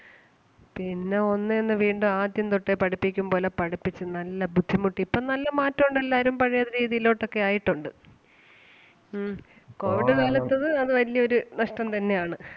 പിന്നേ ഒന്നേന്ന് വീണ്ടും ആദ്യം തൊട്ടേ പഠിപ്പിക്കും പോലെ പഠിപ്പിച്ച് നല്ല ബുദ്ധിമുട്ടി. ഇപ്പം നല്ല മാറ്റം ഒണ്ട് എല്ലാരും പഴേ രീതിയിലോട്ട് ഒക്കെ ആയിട്ടൊണ്ട് ഉം കോവിഡ് കാലത്തേത് അത് വലിയൊരു നഷ്‌ടം തന്നെ ആണ്.